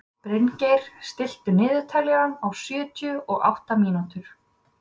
Bryngeir, stilltu niðurteljara á sjötíu og átta mínútur.